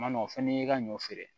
Ma nɔ fana y'i ka ɲɔ feere